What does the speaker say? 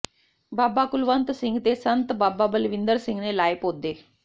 ਬਾਬਾ ਕੁਲਵੰਤ ਸਿੰਘ ਤੇ ਸੰਤ ਬਾਬਾ ਬਲਵਿੰਦਰ ਸਿੰਘ ਨੇ ਲਾਏ ਪੌਦੇ